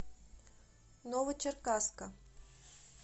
новочеркасска